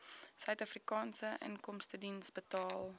suidafrikaanse inkomstediens betaal